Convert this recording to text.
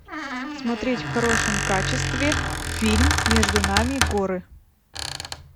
смотреть в хорошем качестве фильм между нами горы